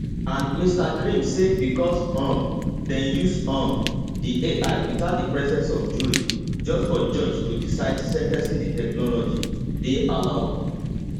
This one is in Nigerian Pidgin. and mr grimm say becos um dem use um di ai witout di presence of jury just for judge to decide sen ten cing di technology dey allowed